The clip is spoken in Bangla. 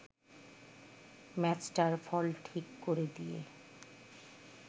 ম্যাচটার ফল ঠিক করে দিয়ে